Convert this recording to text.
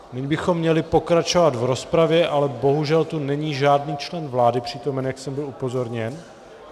Nyní bychom měli pokračovat v rozpravě, ale bohužel tu není žádný člen vlády přítomen, jak jsem byl upozorněn.